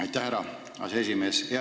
Aitäh, härra aseesimees!